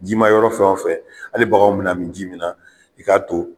Jimayɔrɔ fɛn wo fɛn hali baganw bɛna min ji min na i k'a to.